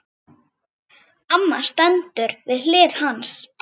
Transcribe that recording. Amma stendur við hlið hans.